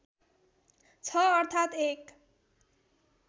छ अर्थात एक